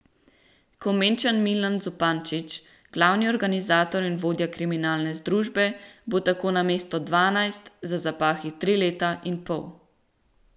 Komenčan Milan Zupančič, glavni organizator in vodja kriminalne združbe, bo tako namesto dvanajst za zapahi tri leta in pol.